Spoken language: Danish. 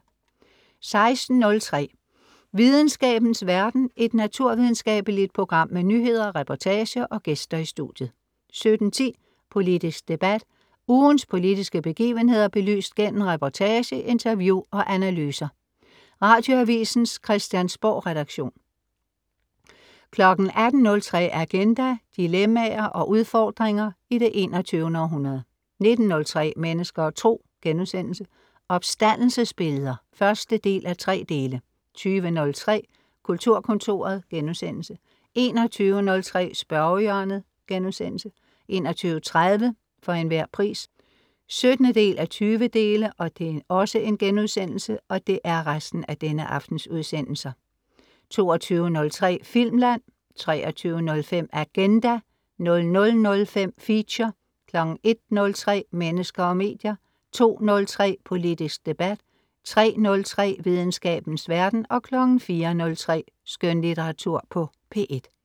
16.03 Videnskabens verden. Et naturvidenskabeligt program med nyheder, reportager og gæster i studiet 17.10 Politisk debat. Ugens politiske begivenheder belyst gennem reportage, interview og analyser. Radioavisens Christiansborgredaktion 18.03 Agenda. Dilemmaer og udfordringer i det 21. århundrede 19.03 Mennesker og Tro* Opstandelsesbilleder 1:3 20.03 Kulturkontoret* 21.03 Spørgehjørnet* 21.30 For Enhver Pris 17:20* 22.03 Filmland* 23.05 Agenda* 00.05 Feature* 01.03 Mennesker og medier* 02.03 Politisk debat* 03.03 Videnskabens verden* 04.03 Skønlitteratur på P1*